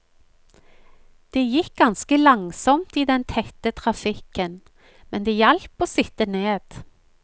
Det gikk ganske langsomt i den tette trafikken, men det hjalp å sitte ned.